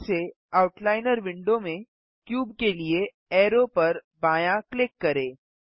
फिर से outliner window में क्यूब के लिए अरो पर बायाँ क्लिक करें